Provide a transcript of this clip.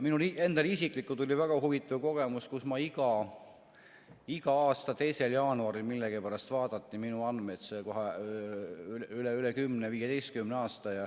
Mul isiklikult oli väga huvitav kogemus, kui iga aasta 2. jaanuaril millegipärast vaadati minu andmed kohe üle, üle 10–15 aasta.